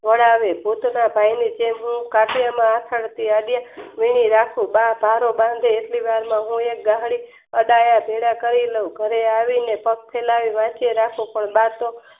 કરેવે અને ભૂતના ભાઈ ની જેમ કાઢીયા એવું લાગતું બા બરોબર એટલી વારમાં બા અહીંયા ભેગા કરી ઘરે આવીને પગ ચલાવીને પણ બા તો